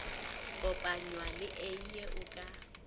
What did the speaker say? kopanywa le eie o ka